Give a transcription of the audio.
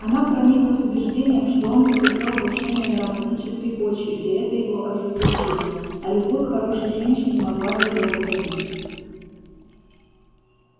она прониклась убеждением что он потерпел крушение на романтической почве и это его ожесточило а любовь хорошей женщины могла бы его возродить